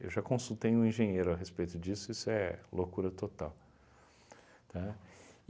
Eu já consultei um engenheiro a respeito disso, isso é loucura total. Né?